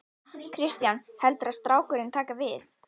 Kristján: Heldurðu að strákurinn taki við?